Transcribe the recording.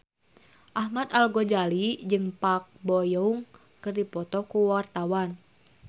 Ahmad Al-Ghazali jeung Park Bo Yung keur dipoto ku wartawan